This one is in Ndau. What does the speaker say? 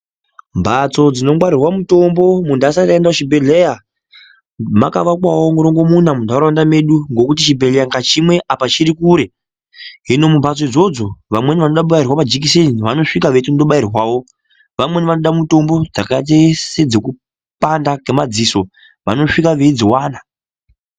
Mbatso dzinongwarirwa mutombo antu asati aenda kuchibhedhleya makavakwavo murongomuna muntaraunda medu. Ngekuti chibhedhleya chimwe apa chiri kure hino mumhatso idzodzo vamweni vanoda kubairwa majekiseni vanosvika vechindobairwavo. Vamweni vanoda mutombo dzakaite sedzekupanda kwemadziso vanosvika veidzivana.